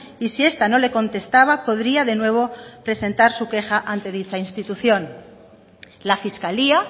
y si esta no le contestaba podría de nuevo presentar su queja ante dicha institución la fiscalía